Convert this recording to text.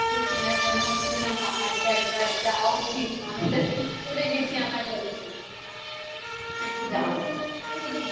ok মুখে শুনে মনে হচ্ছে যে না পাহাড়টা একবার যাওয়া উচিত. আমি ওটা skip করে গেছি আমার life এ যা যা ঘুরেই আসি তাহলে পাহাড়টা কেন